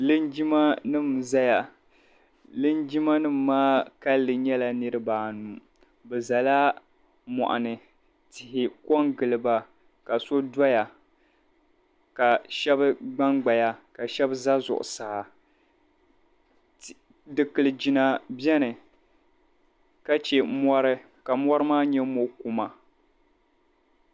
Linjimanima n-zaya linjimanima maa kalinli nyɛla niriba anu bɛ zala mɔɣuni tihi ko n-giliba ka so doya ka shɛba gbangbaya ka shɛba za zuɣusaa dukpil'jina beni ka che mɔri ka mɔri maa nyɛ mɔɣ'kuma